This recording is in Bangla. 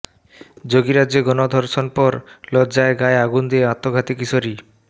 যোগীরাজ্যে গণধর্ষণ পর লজ্জায় গায়ে আগুন দিয়ে আত্মঘাতী কিশোরী